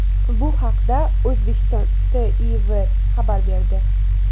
Bu haqda O‘zbekiston TIV xabar berdi .